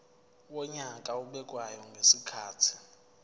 wonyaka obekwayo ngezikhathi